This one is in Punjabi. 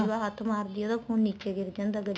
ਹੱਥ ਮਾਰਦੀ ਆ ਉਹਦਾ ਫੋਨ ਨੀਚੇ ਗਿਰ ਜਾਂਦਾ